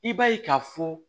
I b'a ye k'a fɔ